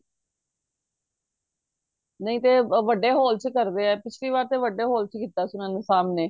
ਨਹੀਂ ਤੇ ਵੱਡੇ hall ਚ ਕਰਦੇ ਏ ਪਿਛਲੀ ਵਾਰ ਤੇ ਵੱਡੇ hall ਚ ਕੀਤਾ ਸੀ ਇਹਨਾਂ ਨੇ ਸਾਮ੍ਹਣੇ